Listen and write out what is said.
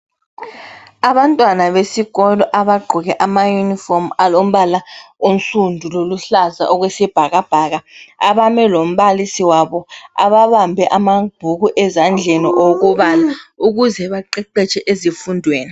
Abantwana besikolo abagqoke ama uniform alombala onsundu loluhlaza okwesibhaka bhaka abame lombalisi wabo ababambe amabhuku ezandleni awokubala ukuze baqeqetshe ezifundweni.